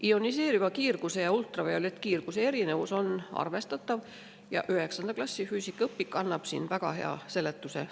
Ioniseeriva kiirguse ja ultraviolettkiirguse erinevus on arvestatav, 9. klassi füüsikaõpik annab selle kohta väga hea seletuse.